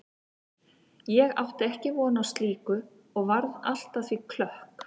Ég átti ekki von á slíku og varð allt að því klökk.